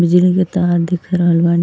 बिजली के तार दिख रहल बानी।